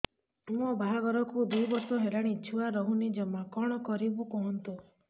ମୋ ବାହାଘରକୁ ଦୁଇ ବର୍ଷ ହେଲାଣି ଛୁଆ ରହୁନି ଜମା କଣ କରିବୁ କୁହନ୍ତୁ